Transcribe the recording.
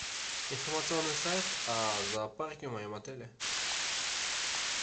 информационный сайт о зоопарке в моем отеле